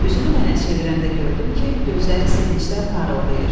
Üzünü mənə çevirəndə gördüm ki, gözləri sevincdən parıldayır.